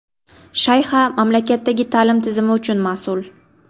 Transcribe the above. Shayxa mamlakatdagi ta’lim tizmi uchun mas’ul.